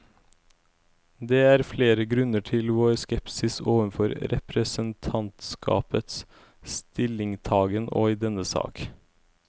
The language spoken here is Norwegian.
Det er flere grunner til vår skepsis overfor representantskapets stillingtagen i denne sak.